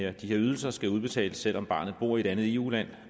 at de her ydelser skal udbetales selv om barnet bor i et andet eu land